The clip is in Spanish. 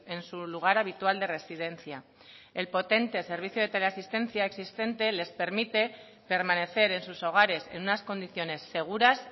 en su lugar habitual de residencia el potente servicio de teleasistencia existente les permite permanecer en sus hogares en unas condiciones seguras